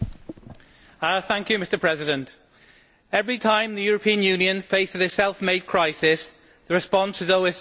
Mr President, every time the European Union faces a self made crisis, the response is always more Europe.